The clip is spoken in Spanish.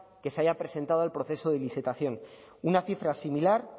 que se haya presentado al proceso de licitación una cifra similar